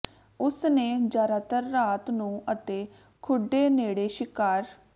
ਉਸ ਨੇ ਜ਼ਿਆਦਾਤਰ ਰਾਤ ਨੂੰ ਅਤੇ ਖੁੱਡੇ ਨੇੜੇ ਸ਼ਿਕਾਰ